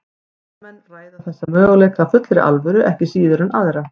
Vísindamenn ræða þessa möguleika af fullri alvöru ekki síður en aðra.